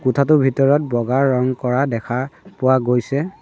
কোঠাটোৰ ভিতৰত বগা ৰং কৰা দেখা পোৱা গৈছে।